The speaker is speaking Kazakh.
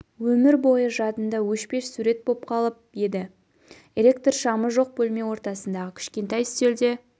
өмір бойы жадында өшпес сурет боп қалып еді эелктр шамы жоқ бөлме ортасындағы кішкентай үстелде